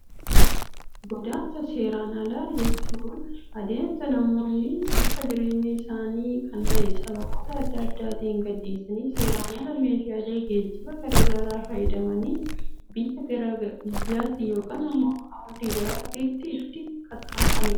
Godaansa seeraan alaa jechuun, adeemsa namoonni bakka jireenya isaanii kan ta'e, sababoota addaa addaatiin gad dhiisanii seeraan ala meeshaalee geejibaa garaagaraa fayyadamanii biyyaa gara biyyaatti yookaan immoo ardii gara ardiitti itti qaxxamuranidha.